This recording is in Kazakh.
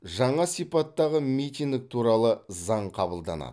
жаңа сипаттағы митинг туралы заң қабылданады